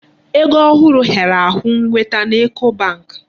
Ego ohụrụ hịara ahụ nweta n'Eco bank.